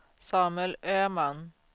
Samuel Öhman